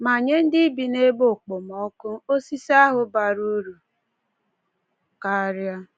Ma nye ndị bi n’ebe okpomọkụ, osisi ahụ bara uru karịa.